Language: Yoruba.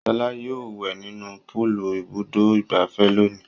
Ṣọlá yóò wẹ̀ nínú púúlù Ibùdó-ìgbafẹ́ lónìí.